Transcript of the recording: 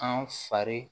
An fari